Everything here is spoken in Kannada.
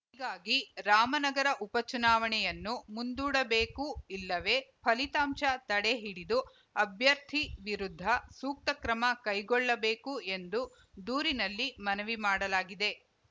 ಹೀಗಾಗಿ ರಾಮನಗರ ಉಪಚುನಾವಣೆಯನ್ನು ಮುಂದೂಡಬೇಕು ಇಲ್ಲವೇ ಫಲಿತಾಂಶ ತಡೆ ಹಿಡಿದು ಅಭ್ಯರ್ಥಿ ವಿರುದ್ಧ ಸೂಕ್ತ ಕ್ರಮ ಕೈಗೊಳ್ಳಬೇಕು ಎಂದು ದೂರಿನಲ್ಲಿ ಮನವಿ ಮಾಡಲಾಗಿದೆ